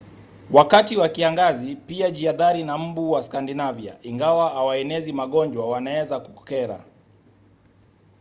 wakati wa kiangazi pia jihadhari na mbu wa skandinavia. ingawa hawaenezi magonjwa wanaweza kukera